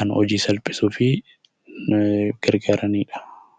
kan hojii salphisuuf gargaaranidha.